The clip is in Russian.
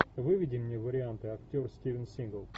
выведи мне варианты актер стивен сигал